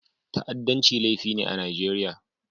Ta'addanci laifi ne a Najeriya.